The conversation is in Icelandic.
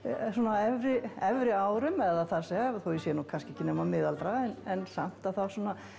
á efri efri árum eða það segja þótt ég sé nú kannski ekki nema miðaldra en samt að þá svona